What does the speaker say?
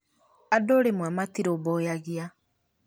andũ rĩmwe matirũmbũyagia